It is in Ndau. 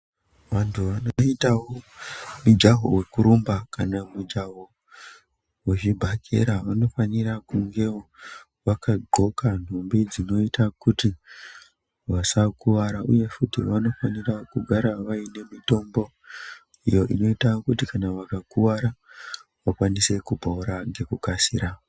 Vantu vanoitawo mujaho wekurumba kwana mujaho wezvibhakera vanofanira kungawo vakadxoka nhumbi dzinoita kuti vasakuwara uye futi vanofanira kugara vane mitombo iyo inoita kuti vakakuwara vakasire kupora ngekukasira.